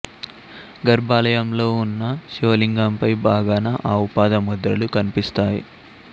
గర్భాలయంలో ఉన్న శివలింగంపై భాగాన ఆవు పాదం ముద్రలు కనిపిస్తాయి